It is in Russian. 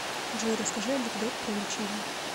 джой расскажи анекдот про лечение